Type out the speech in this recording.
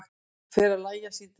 Fer að lægja síðdegis